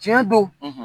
Tiɲɛ don